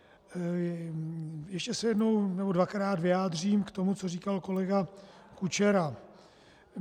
Ještě se jednou nebo dvakrát vyjádřím k tomu, co říkal kolega Kučera.